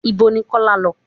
Ìbo ní Kọ́lá lọ?